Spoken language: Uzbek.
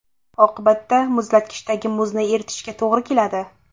Oqibatda muzlatkichdagi muzni eritishga to‘g‘ri keladi.